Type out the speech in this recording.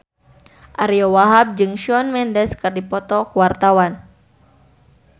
Ariyo Wahab jeung Shawn Mendes keur dipoto ku wartawan